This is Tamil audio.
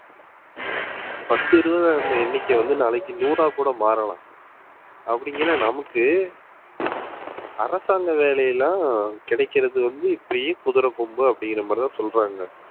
பத்து இருபதா இருந்த எண்ணிக்கை வந்து நாளைக்கு நூறாக்கூட மாறலாம் அப்படிங்குற நமக்கு அரசாங்க வேலை எல்லாம் ஆஹ் கிடக்கிறது வந்து இப்படியே குதிரை கொம்பு அப்படிங்கிற மாதிரிதான் சொல்றாங்க